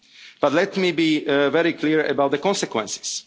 buy more time. But let me be very clear about the